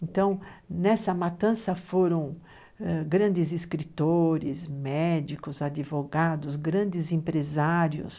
Então, nessa matança foram ãh grandes escritores, médicos, advogados, grandes empresários,